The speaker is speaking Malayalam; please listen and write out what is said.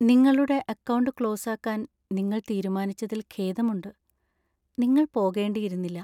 നിങ്ങളുടെ അക്കൗണ്ട് ക്ലോസാക്കാന്‍ നിങ്ങൾ തീരുമാനിച്ചതിൽ ഖേദമുണ്ട്. നിങ്ങൾ പോകേണ്ടിയിരുന്നില്ല.